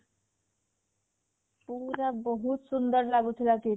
ପୁରା ବହୁତ ସୁନ୍ଦର ଲାଗୁ ଥିଲା KIIT